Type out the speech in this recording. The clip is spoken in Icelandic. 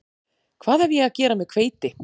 Hvað hef ég að gera með hveiti